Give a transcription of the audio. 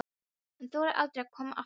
Hann þorir aldrei að koma aftur.